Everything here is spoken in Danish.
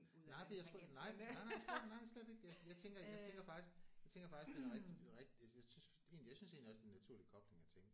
Nej for jeg nej nej nej slet ikke nej slet ikke jeg jeg tænker jeg tænker faktisk jeg tænker faktisk det er rigtig det er rigtig jeg synes jeg synes egentlig også det er en naturlig kobling at tænke